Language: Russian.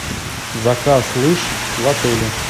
заказ лыж в отеле